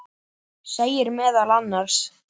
segir meðal annars